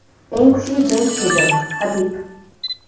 eng kuchli jangchi edim — Habib.